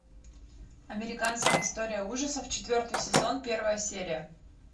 американская история ужасов четвертый сезон первая серия